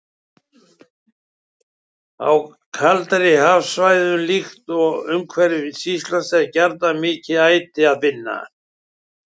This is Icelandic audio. Á kaldari hafsvæðum, líkt og umhverfis Ísland, er gjarnan mikið æti að finna.